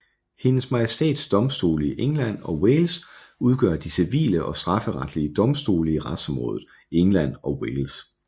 Hendes Majestæts Domstole i England og Wales udgør de civile og strafferetlige domstole i retsområdet England og Wales